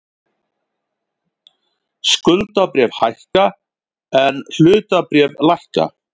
Skuldabréf hækka en hlutabréf lækka